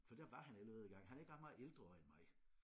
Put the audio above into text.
For der var han allerede i gang han er ikke ret meget ældre end mig